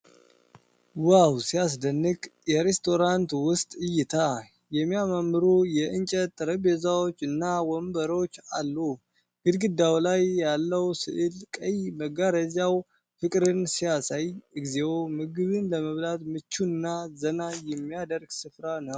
ዋው ሲያስደንቅ! የሬስቶራንት ውስጥ እይታ! የሚያማምሩ የእንጨት ጠረጴዛዎች እና ወንበሮች አሉ። ግድግዳው ላይ ያለው ሥዕልና ቀይ መጋረጃው ፍቅርን ያሳያል። እግዚኦ! ምግብ ለመብላት ምቹና ዘና የሚያደርግ ስፍራ ነው!